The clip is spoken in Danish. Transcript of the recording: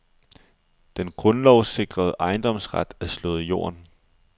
Den grundlovssikrede ejendomsret er slået i jorden.